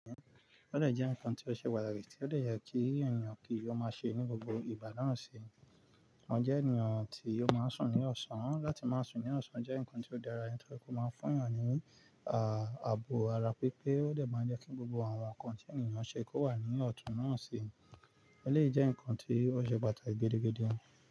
Ó dẹ̀ jẹ́ ǹkan tí ó ṣe pàtàkì tí ó dẹ̀ yẹ kí ènìyàn kí ó máa ṣe ní gbogbo ìgbà na sí, wọ́n jẹ́ ènìyàn tí ó máa ń sùn ní ọ̀sán. Láti máa sùn ní ọ̀sán jẹ́ ǹkan tí ó dára nítorí kó máa ń fún ènìyàn ní à, ààbò ara pípé ó dẹ̀ máa ń jẹ́ kí gbogbo àwọn ǹkan tí ènìyàn ṣe kó wà ní ọ̀tún náà sí, ọlé jẹ́ ǹkan tí ó ṣe pàtàkì gidi-gidi.